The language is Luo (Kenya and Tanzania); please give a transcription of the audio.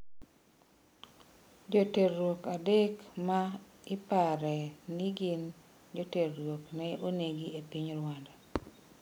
Joterruok adek ma ipare ni gin joterruok ne onegi e piny Rwanda